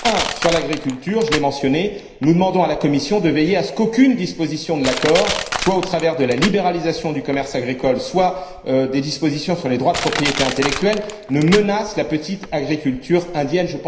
Premièrement, sur l'agriculture je l'ai mentionné nous demandons à la Commission de veiller à ce qu'aucune disposition de l'accord, soit au travers de la libéralisation du commerce agricole, soit au travers des dispositions sur les droits de propriété intellectuelle, ne menace la petite agriculture indienne.